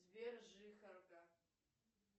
сбер жихарка